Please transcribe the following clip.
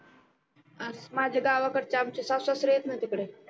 माझ्या गावकडचे आमचे सासू सासरे आहेत न तिकडे